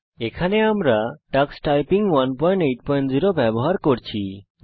এখানে আমরা Ubuntu Linux 1110 এ টাক্স টাইপিং 180 ব্যবহার করছি